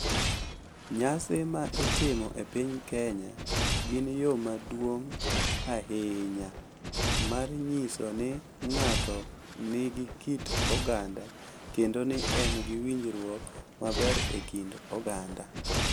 Nyasi ma itimo e piny Kenya gin yo maduong’ ahinya mar nyiso ni ng’ato nigi kit oganda kendo ni en gi winjruok maber e kind oganda.